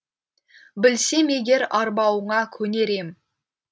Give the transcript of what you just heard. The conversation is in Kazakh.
білсем егер арбауыңа көнер ем